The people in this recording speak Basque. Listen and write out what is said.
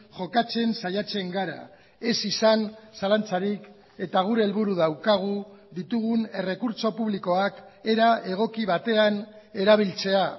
jokatzen saiatzen gara ez izan zalantzarik eta gure helburu daukagu ditugun errekurtso publikoak era egoki batean erabiltzea